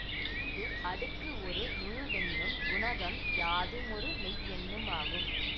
இங்கு அடுக்கு ஒரு முழுவெண்ணும் குணகம் யாதுமொரு மெய்யெண்ணுமாகும்